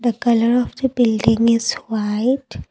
the colour of the building is white.